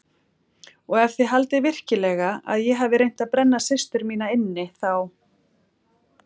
Og ef þið haldið virkilega að ég hafi reynt að brenna systur mína inni þá.